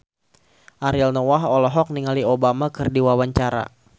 Ariel Noah olohok ningali Obama keur diwawancara